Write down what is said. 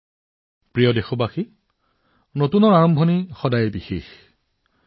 মোৰ মৰমৰ দেশবাসীসকল যিকোনো নতুন আৰম্ভণি সদায় অতি বিশেষ হয়